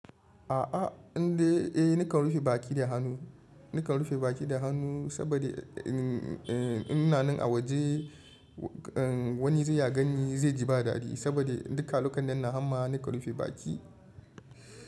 A'a, indai eh nakan rufe baki da hannu, nakan rufe baki da hannu saboda in inanan a waje wani zai ya gani zai ji ba daɗi saboda duka lokunan nan hamma nakan rufe baki.